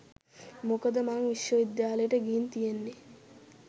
මොකද මං විශ්ව විද්‍යාලයකට ගිහින් තියෙන්නේ